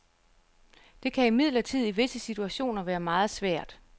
Det kan imidlertid i visse situationer være meget svært.